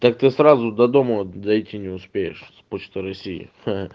так ты сразу до дома дойти не успеешь с почта россии ха-ха